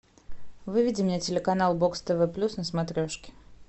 выведи мне телеканал бокс тв плюс на смотрешке